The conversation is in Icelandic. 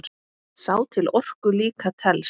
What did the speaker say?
Sá til orku líka telst.